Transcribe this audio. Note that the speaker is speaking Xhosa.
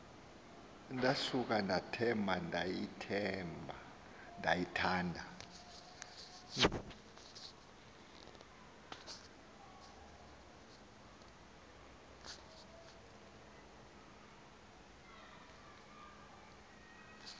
ndasuka ndathemba ndayithanda